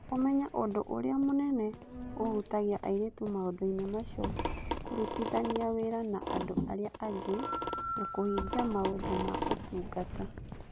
Kũmenya ũndũ ũrĩa mũnene ũhutagia airĩtu maũndũ-inĩ macio, kũrutithania wĩra na andũ arĩa angĩ na kũhingia maũndũ ma ũtungata.